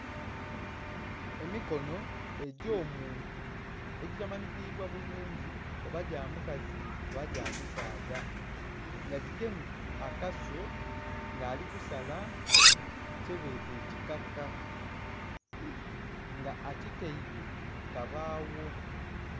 Emikono egy'omuntu egitamanhikibwa bulungi oba gya mukazi oba gya musaadha nga gigemye akaso nga ali kusala kyebeeta ekikaka nga akitaile ku kabagho.